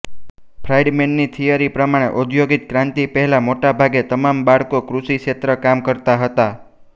ફ્રાઇડમેનની theory પ્રમાણે ઔદ્યોગિક ક્રાંતિ પહેલા મોટે ભાગે તમામ બાળકો કૃષિ ક્ષેત્રે કામ કરતા હતા